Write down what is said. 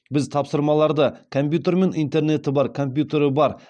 біз тапсырмаларды компьютер мен интернеті бар компьютері бар